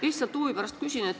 Lihtsalt huvi pärast küsin.